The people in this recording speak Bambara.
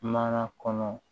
Mana kɔnɔ